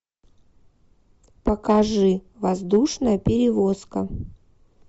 покажи воздушная перевозка